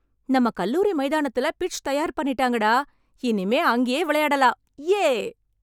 நம்ம கல்லூரி மைதானத்துல பிட்ச் தயார் பண்ணிட்டாங்க டா. இனிமே அங்கேயே விளையாடலாம். யே!